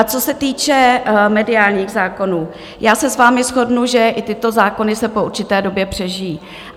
A co se týče mediálních zákonů, já se s vámi shodnu, že i tyto zákony se po určité době přežijí.